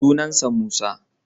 Sunan sa Musa.